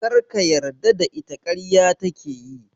Kar ka yarda da ita - ƙarya take yi.